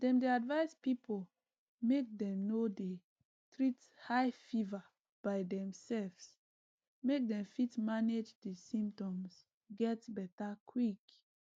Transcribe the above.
dem dey advise pipo make dem no dey treat high fever by demselves make dem fit manage di symptoms get beta quick